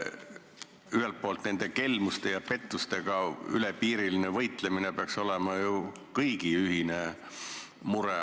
Ühelt poolt peaks kelmuste ja pettustega ülepiiriline võitlemine olema ju kõigi ühine mure.